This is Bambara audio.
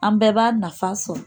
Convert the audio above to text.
An bɛɛ b'a nafa sɔrɔ